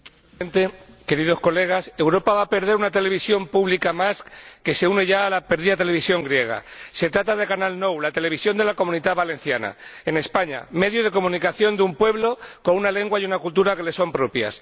Señor Presidente, Señorías, Europa va a perder una televisión pública más, que se une a la ya perdida televisión griega. Se trata de Canal 9, la televisión de la Comunidad Valenciana, en España, medio de comunicación de un pueblo con una lengua y una cultura que le son propias.